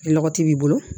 Ni lɔgɔti b'i bolo